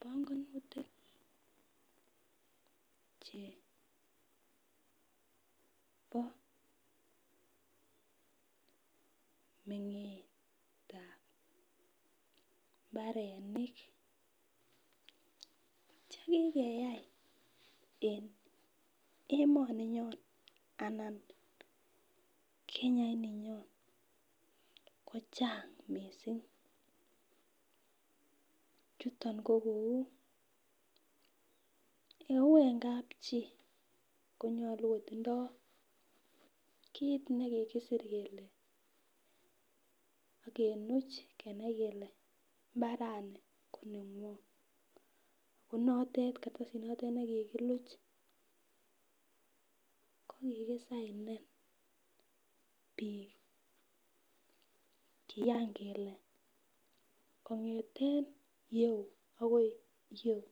pongonutik chebo mengetab mbarenik chekikeyai en emoninyon anan kenya ininyoon kochang mising, chuton ko kouu en kap chi konyolu kotindoo kiit nekigisiir kele ak kenuuch kenai kele imbarani konengunget, ko noteet kartasit noteet kartasiit notet nekiginuch kokigisainen biik kiyaan kele kongeten iyeuu agoi iyeuu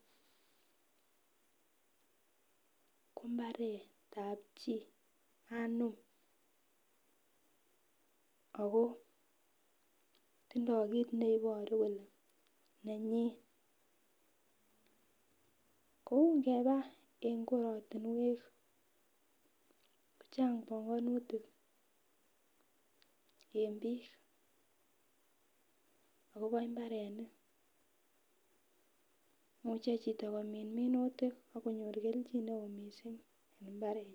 ko mbareet ab chi anuum ago tindoo kiit neiboru kole nenyiin, ko ngeba en kokwotinweek ko chang bongonutik en biik agobo imbarenik imuche chito komiin minutik ak konyor kelchin neo mising en imbarenyin.